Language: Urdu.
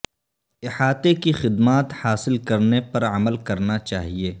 احاطے کی خدمات حاصل کرنے پر عمل کرنا چاہے